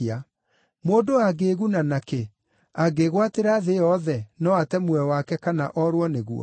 Mũndũ angĩĩguna nakĩ angĩĩgwatĩra thĩ yothe, no ate muoyo wake kana orwo nĩguo?